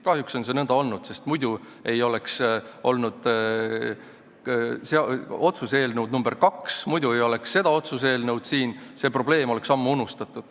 Kahjuks on see nõnda olnud, sest muidu poleks olnud otsuse eelnõu nr 2, muidu poleks siin seda otsuse eelnõu, see probleem oleks ammu unustatud.